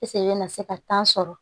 i bɛna se ka sɔrɔ